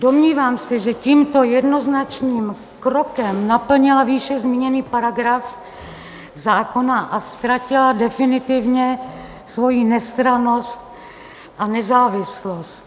Domnívám se, že tímto jednoznačným krokem naplnila výše zmíněný paragraf zákona a ztratila definitivně svoji nestrannost a nezávislost.